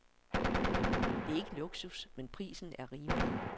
Det er ikke luksus, men prisen er rimelig.